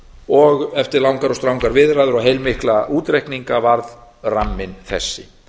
og eftir langar og strangar viðræður og heilmikla útreikninga varð ramminn þessi